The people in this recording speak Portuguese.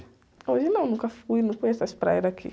Hoje não, nunca fui, não conheço as praias daqui.